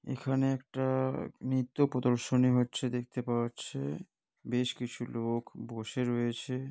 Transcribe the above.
এখানে একটা নৃত্য প্রদর্শনী হচ্ছে দেখতে পাওয়া যাচ্ছে বেশ কিছু লোক বসে রয়েছে।